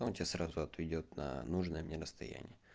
он тебя сразу отведёт на нужное мне расстояние